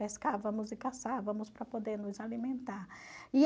Pescávamos e caçávamos para poder nos alimentar.